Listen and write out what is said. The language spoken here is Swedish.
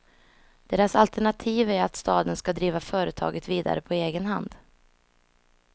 Deras alternativ är att staden ska driva företaget vidare på egen hand.